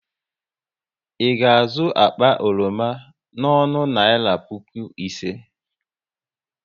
Ị ga azụ akpa oroma n'ọnụ naira puku ise?